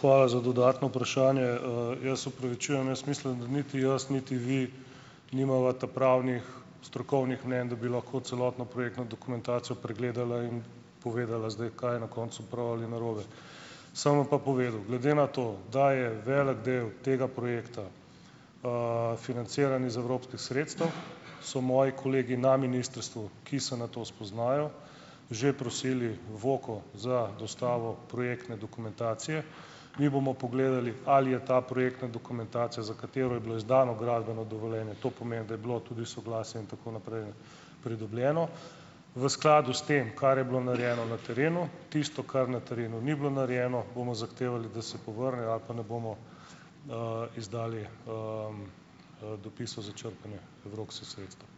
hvala za dodatno vprašanje. Jaz se opravičujem, jaz mislim, da niti jaz niti vi nimava ta pravnih strokovnih mnenj, da bi lahko celotno projektno dokumentacijo pregledala in povedala zdaj, kaj je na koncu prav ali narobe. Sem vam pa povedal. Glede na to, da je velik del tega projekta, financiran iz evropskih sredstev, so moji kolegi na ministrstvu, ki se na to spoznajo, že prosili Voko za dostavo projektne dokumentacije. Mi bomo pogledali, ali je ta projektna dokumentacija, za katero je bilo izdano gradbeno dovoljenje, to pomeni, da je bilo tudi soglasje in tako naprej, ne, pridobljeno, v skladu s tem, kar je bilo narejeno na terenu. Tisto, kar na terenu ni bilo narejeno, bomo zahtevali, da se povrne ali pa ne bomo, izdali, dopisov za črpanje evropskih sredstev.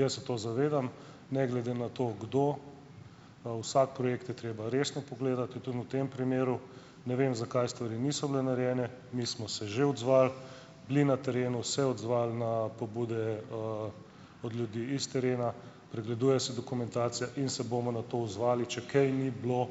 Jaz se to zavedam. Ne glede na to, kdo, vsak projekt je treba resno pogledati. In tudi v tem primeru ne vem, zakaj stvari niso bile narejene. Mi smo se že odzvali, bili na terenu, se odzvali na pobude, od ljudi iz terena pregleduje se dokumentacija in se bomo na to odzvali, če kaj ni bilo,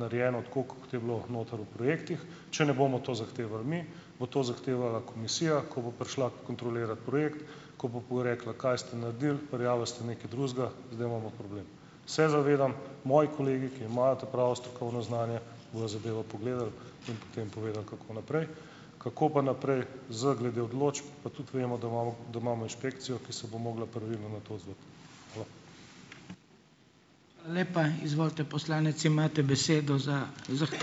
narejeno tako, kot je bilo noter v projektih. Če ne bomo to zahtevali mi, bo to zahtevala komisija. Ko bo prišla kontrolirat projekt, ko bo porekla: "Kaj ste naredili, prijavili ste nekaj drugega, zdaj imamo problem." Se zavedam. Moji kolegi, ki imajo ta pravo strokovno znanje bojo zadevo pogledali in potem povedali, kako naprej. Kako pa naprej z glede odločb, pa tudi vemo, da imamo da imamo inšpekcijo, ki se bo mogla pravilno na to odzvati. Hvala.